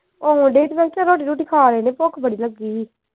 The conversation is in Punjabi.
ਆਉਣ ਦੀ ਮੈਂ ਕਿਹਾ ਚੱਲ ਰੋਟੀ ਰੂਟੀ ਖਾ ਲੈਣੇ ਭੁੱਖ ਬੜੀ ਲੱਗੀ ਹੀ।